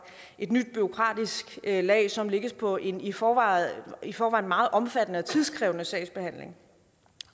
et nyt bureaukratisk lag som lægges på en i forvejen i forvejen meget omfattende og tidskrævende sagsbehandling